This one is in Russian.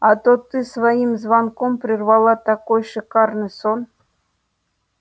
а то ты своим звонком прервала такой шикарный сон